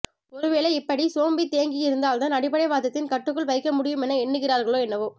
ஒருவேளை இபப்டி சோம்பி தேங்கி இருந்தால்தான் அடிப்படைவாதத்தின் கட்டுக்குள் வைக்கமுடியுமென எண்ணுகிறார்களோ என்னவோ